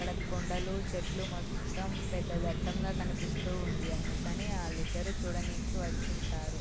అక్కడ కొండలు చెట్లు మొత్తం పెద్ద ఘట్టం కనిపిస్తూ ఉంది. అందుకనే వాళ్ళిద్దరూ చూడడానికి వచ్చి ఉంటారు.